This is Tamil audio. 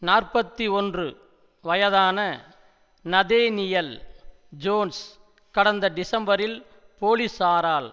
நாற்பத்தி ஒன்று வயதான நதேனியல் ஜோன்ஸ் கடந்த டிசம்பரில் போலீசாரால்